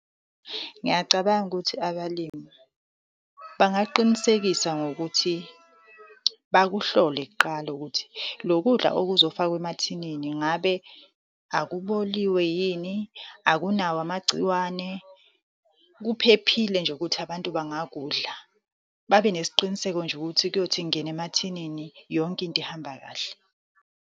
Ngiyacabanga ukuthi abalimi bangaqinisekisa ngokuthi, bakuhlole kuqala ukuthi lokudla okuzofakwa emathinini ngabe akuboliwe yini, akunawo amagciwane, kuphephile nje ukuthi abantu bangakudla. Babe nesiqiniseko nje ukuthi kuyothi kungena emathinini, yonke into ihamba kahle.